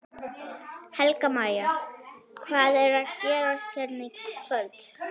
Helga María: Hvað er að gerast hérna í kvöld?